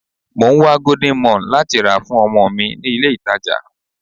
Mò ń wá golden morn láti rà fún ọmọ mi ní ilé ìtàjà.